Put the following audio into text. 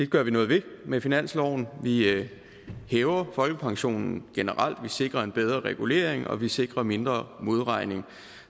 gør vi noget ved med finansloven vi hæver folkepensionen generelt og vi sikrer en bedre regulering og vi sikrer mindre modregning